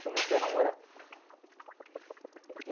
Comecei a namorar.